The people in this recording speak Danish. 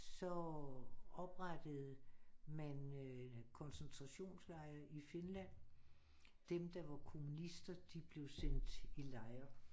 Så oprettede man koncentrationslejre i Finland dem der var kommunister de blev sendt i lejre